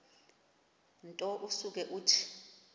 nto usuke uthi